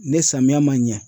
Ne samiyɛ man ɲɛ